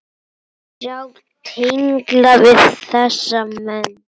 Sjá tengla við þessa menn.